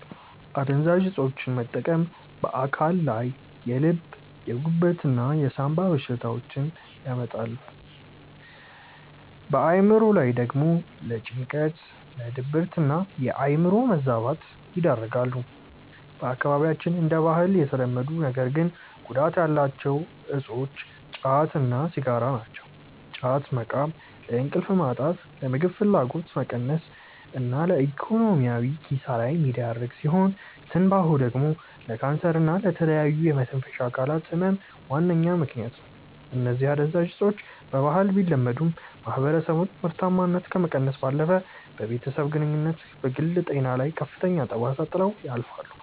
አደንዛዥ እፆችን መጠቀም በአካል ላይ የልብ፣ የጉበት እና የሳምባ በሽታዎችን ያመጣሉ፣ በአእምሮ ላይ ደግሞ ለጭንቀት፣ ለድብርትና የአእምሮ መዛባት ይዳርጋሉ። በአካባቢያችን እንደ ባህል የተለመዱ ነገር ግን ጉዳት ያላቸው እፆች ጫት እና ሲጋራ ናቸው። ጫት መቃም ለእንቅልፍ ማጣት፣ ለምግብ ፍላጎት መቀነስ እና ለኢኮኖሚያዊ ኪሳራ የሚዳርግ ሲሆን፤ ትንባሆ ደግሞ ለካንሰር እና ለተለያዩ የመተንፈሻ አካላት ህመም ዋነኛ ምከንያት ነው። እነዚህ አደንዛዥ እፆች በባህል ቢለመዱም፣ የማህበረሰቡን ምርታማነት ከመቀነስ ባለፈ በቤተሰብ ግንኙነትና በግል ጤና ላይ ከፍተኛ ጠባሳ ጥለው ያልፋሉ።